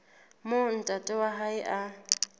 moo ntate wa hae a